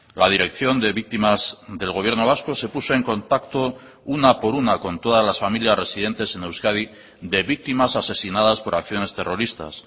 la dirección de víctimas del gobierno vasco se puso en contacto una por una con todas las familias residentes en euskadi de víctimas asesinadas por acciones terroristas